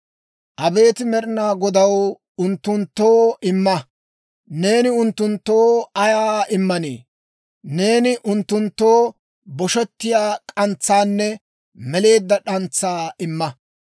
Abeet Med'inaa Godaw, unttunttoo imma! Neeni unttunttoo ayaa immanii? Neeni unttunttoo boshettiyaa k'antsaanne meleedda d'antsaa imma.